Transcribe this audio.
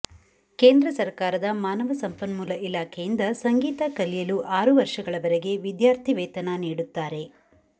ಕೇಂದ್ರ ಸರಕಾರದ ಮಾನವ ಸಂಪನ್ಮೂಲ ಇಲಾಖೆಯಿಂದ ಸಂಗೀತ ಕಲಿಯಲು ಆರು ವರ್ಷಗಳವರೆಗೆ ವಿದ್ಯಾರ್ಥಿವೇತನ ನೀಡುತ್ತಾರೆ